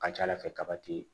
A ka ca ala fɛ kaba ti